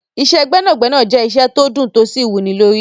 Iṣẹ́ gbẹ́nàgbẹnà jẹ́ iṣẹ́ tó dùn tó sì wúnilórí.